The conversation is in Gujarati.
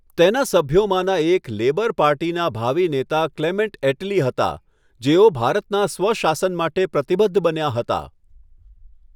તેના સભ્યોમાંના એક લેબર પાર્ટીના ભાવિ નેતા ક્લેમેન્ટ એટલી હતા, જેઓ ભારતના સ્વ શાસન માટે પ્રતિબદ્ધ બન્યા હતા.